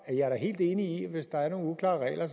er da helt enig i at hvis der er nogle uklare regler